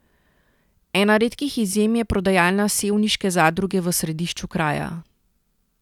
Ena redkih izjem je prodajalna sevniške zadruge v središču kraja.